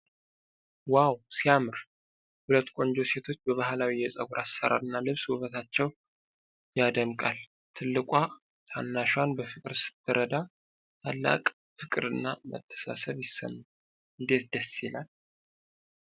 ዋው ሲያምር! ሁለት ቆንጆ ሴቶች በባህላዊ የፀጉር አሰራርና ልብስ ውበታቸው ያደምቃል። ትልቋ ታናሿን በፍቅር ስትረዳ፣ ታላቅ ፍቅርና መተሳሰብ ይሰማል። እንዴት ደስ ይላል!